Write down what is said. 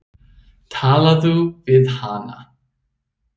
Talaðu við hana.